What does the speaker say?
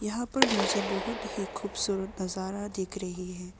यहां पर मुझे बहुत ही खूबसूरत नजारा दिख रही है।